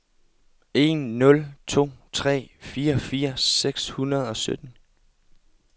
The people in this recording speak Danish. en nul to tre fireogfirs seks hundrede og sytten